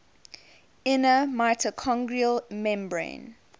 inner mitochondrial membrane